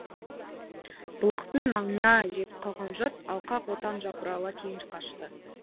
бұлақтың маңына жетіп қалған жұрт алқа қотан жапырыла кейін қашты